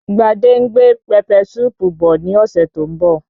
Gbadé ń gbé pẹpẹ súùpù bọ̀ ní ọ̀sẹ̀ tó ń bọ̀